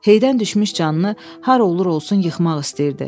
Heydən düşmüş canını har olur-olsun yıxmaq istəyirdi.